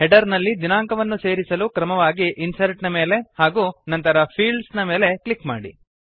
header ನಲ್ಲಿ ದಿನಾಂಕವನ್ನು ಸೇರಿಸಲು ಕ್ರಮವಾಗಿ ಇನ್ಸರ್ಟ್ ನ ಮೇಲೆ ಹಾಗೂ ನಂತರ ಫೀಲ್ಡ್ಸ್ ನ ಮೇಲೆ ಕ್ಲಿಕ್ ಮಾಡಿ